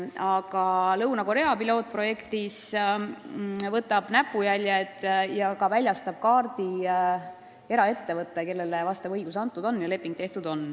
Aga Lõuna-Korea pilootprojekti raames võtab sõrmejäljed ja väljastab kaardi eraettevõte, kellega on sellekohane leping tehtud.